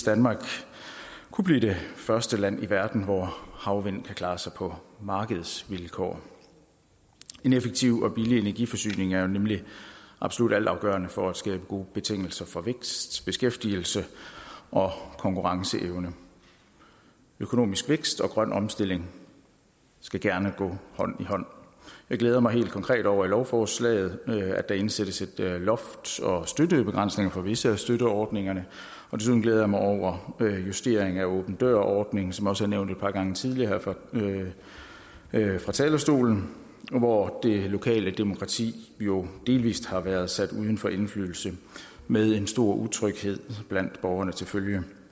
danmark kunne blive det første land i verden hvor havvind kunne klare sig på markedsvilkår en effektiv og billig energiforsyning er jo nemlig absolut altafgørende for at skabe gode betingelser for vækst beskæftigelse og konkurrenceevne økonomisk vækst og grøn omstilling skal gerne gå hånd i hånd jeg glæder mig helt konkret over i lovforslaget indsættes loft og støttebegrænsninger for visse af støtteordningerne desuden glæder jeg mig over en justering af åben dør ordningen som også er nævnt et par gange tidligere her fra talerstolen hvor det lokale demokrati jo delvist har været sat uden for indflydelse med en stor utryghed blandt borgerne til følge